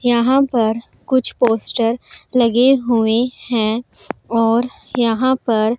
यहां पर कुछ पोस्टर लगे हुए हैं और यहां पर --